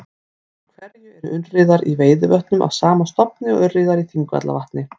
Af hverju eru urriðar í Veiðivötnum af sama stofni og urriðar í Þingvallavatni?